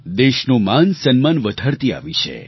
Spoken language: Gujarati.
દેશનું માનસન્માન વધારતી આવી છે